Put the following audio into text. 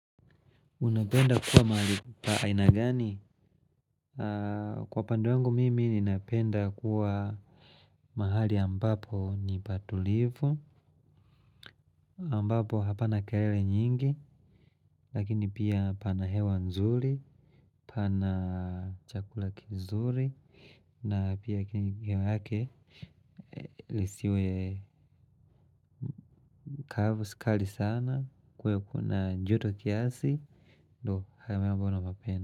Unapenda kuwa mahali pa aina gani? Kwa upande wangu mimi ninapenda kuwa mahali ambapo ni pa tulivu ambapo hapana kelele nyingi. Lakini pia pana hewa nzuri. Pana chakula kizuri. Na pia ki ni hewa yake. Lisiwe kavu si kali sana. Kuwe kuna njoto kiasi. Ndo hamahali ambopo napapenda.